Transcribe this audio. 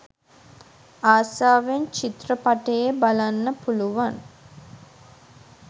ආසාවෙන් චිත්‍රපටයේ බලන්න පුළුවන්.